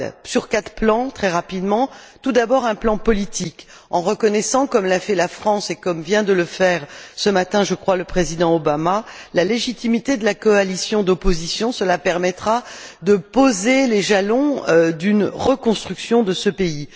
Sur quatre plans, très rapidement. Premièrement, sur un plan politique, il faut reconnaître, comme l'a fait la France et comme vient de le faire ce matin, je crois, le Président Obama, la légitimité de la coalition d'opposition, ce qui permettra de poser les jalons d'une reconstruction de ce pays.